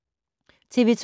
TV 2